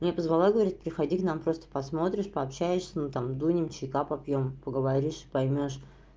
меня позвала говорит приходи к нам просто посмотришь пообщаешься ну там дунем чайка попьём поговоришь и поймёшь